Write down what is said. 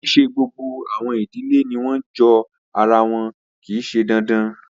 Kii ṣe gbogbo awọn idile ni wọn jo ara wọn, kii ṣe dandan